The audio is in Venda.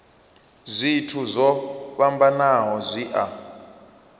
zwithu zwo fhambanaho zwi a